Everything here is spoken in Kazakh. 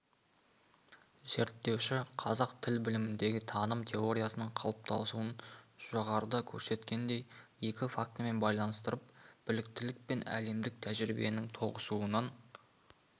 зерттеуші қазақ тіл біліміндегі таным теориясының қалыптасуын жоғарыда көрсеткендей екі фактімен байланыстырып біліктілік пен әлемдік тәжірибенің тоғысуынан